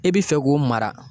E bi fɛ k'o mara